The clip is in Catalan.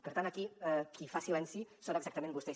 per tant aquí qui fa silenci són exactament vostès